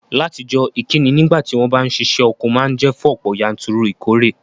Látijọ́, ìkíni nígbàtí won ba n sisẹ́ oko ma n je fún ọ̀pọ̀yanturu ìkóre